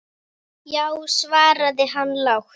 Já, svaraði hann lágt.